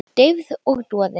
Deyfð og doði.